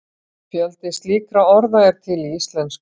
fjöldi slíkra orða er til í íslensku